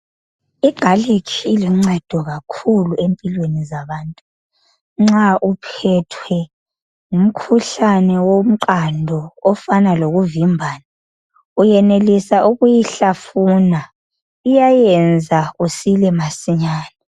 Igalikhi ilusizo kakhulu empilweni zabantu nxa uphethwe ngumkhuhlane womqado ofana lokuvimbana ungayenelisa ukuyihlafuna iyayenza usile masinyane.